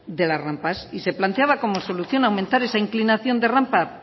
de la rampa y se planteaba como solución aumentar esa inclinación de rampa